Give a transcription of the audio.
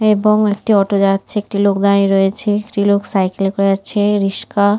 এবং একটি অটো দাঁড়াচ্ছে একটি লোক দাঁড়িয়ে রয়েছে একটি লোক সাইকেল করে যাচ্ছে রিস্কা ।